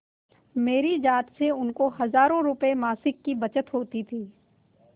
मेरी जात से उनको हजारों रुपयेमासिक की बचत होती थी